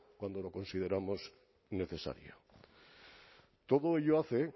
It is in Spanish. cuando lo consideramos necesario todo ello hace